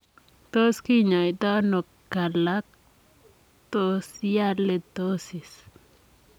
Tos kinyaitaa anoo kalaktosialitosis?